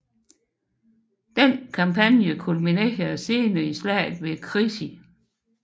Denne kampagne kulminerede senere i slaget ved Crécy